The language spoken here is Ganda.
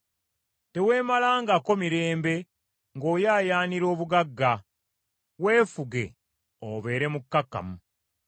Teweemalangako mirembe ng’oyaayaanira obugagga; weefuge obeere mukkakkamu.